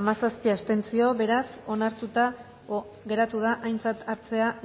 hamazazpi abstentzio beraz onartuta geratu da aintzat hartzea